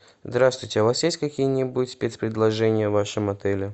здравствуйте а у вас есть какие нибудь спец предложения в вашем отеле